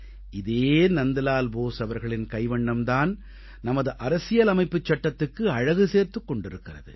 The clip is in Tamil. இதே நந்த்லா போஸ் அவர்களின் கைவண்ணம் தான் நமது அரசியலமைப்புச் சட்டத்துக்கு அழகு சேர்த்துக் கொண்டிருக்கிறது